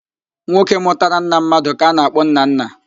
Nwoke mụtara nna mmadụ ka a na-akpọ nnanna